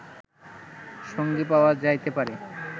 সঙ্গী পাওয়া যাইতে পারে